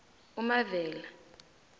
umavela